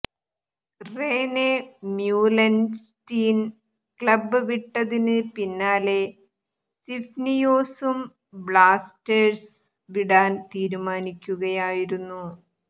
Rene Meulensteen club വിട്ടതിന് പിന്നാലെ സിഫ്നിയോസും ബ്ലാസ്റ്റേർസ് വിടാൻ തീരുമാനിക്കുകയായിരുന്നു